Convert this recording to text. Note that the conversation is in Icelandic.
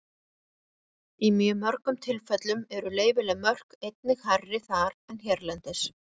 Í mjög mörgum tilfellum eru leyfileg mörk einnig hærri þar en hérlendis.